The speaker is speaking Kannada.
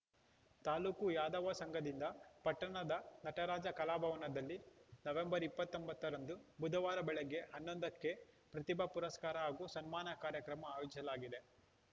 ತಾಲೂಕು ಯಾದವ ಸಂಘದಿಂದ ಪಟ್ಟಣದ ನಟರಾಜ ಕಲಾಭವನದಲ್ಲಿ ನವೆಂಬರ್ ಇಪ್ಪತ್ತೊಂದರಂದು ಬುಧವಾರ ಬೆಳಗ್ಗೆ ಹನ್ನೊಂದಕ್ಕೆ ಪ್ರತಿಭಾ ಪುರಸ್ಕಾರ ಹಾಗೂ ಸನ್ಮಾನ ಕಾರ್ಯಕ್ರಮ ಆಯೋಜಿಸಲಾಗಿದೆ